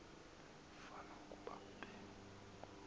fan ukuba be